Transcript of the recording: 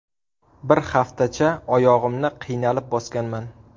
Bir haftacha oyog‘imni qiynalib bosganman.